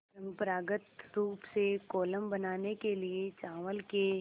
परम्परागत रूप से कोलम बनाने के लिए चावल के